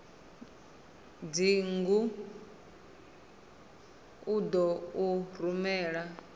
dzingu u ḓo u rumela